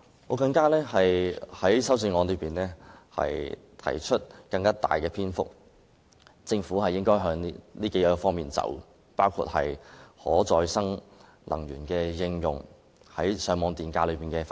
我的修正案花了更長篇幅建議政府朝着以下數方面發展，包括應用可再生能源、反映上網電價、潔